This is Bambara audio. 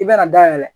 I bɛna dayɛlɛ